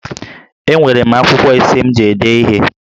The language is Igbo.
Enwere m akwụkwọ ise m ji ede ihe